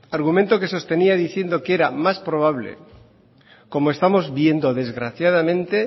argumento que sostenía diciendo que era más probable como estamos viendo desgraciadamente